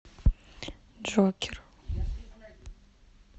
джокер